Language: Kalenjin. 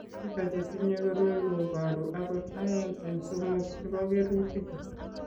Biko che tinye koroi ko boru akot aeng' eng' somok chebo kerutichu.